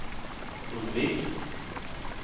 undvik